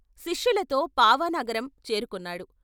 శిష్యులతో పావానగరం చేరుకున్నాడు.